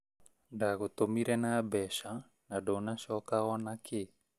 Ngũgũtumire na mbeca na ndũnacoka onakĩ